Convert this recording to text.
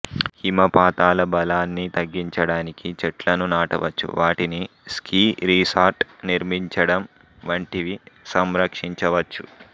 హిమపాతాల బలాన్ని తగ్గించడానికి చెట్లను నాటవచ్చు వాటిని స్కీ రిసార్ట్ నిర్మించడం వంటివి సంరక్షించవచ్చు